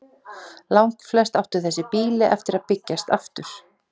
Langflest áttu þessi býli eftir að byggjast aftur.